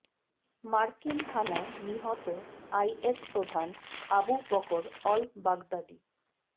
মার্কিন হানায় নিহত আই এস প্রধান আবু বকর অল বাগদাদি